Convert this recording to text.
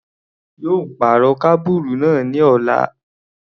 A yóò pàrọ̀ kábùrù náà ní ọ̀la.